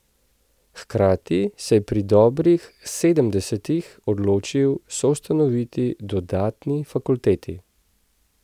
Hkrati se je pri dobrih sedemdesetih odločil soustanoviti dodatni fakulteti.